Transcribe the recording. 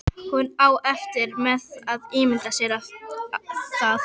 Hún á erfitt með að ímynda sér það.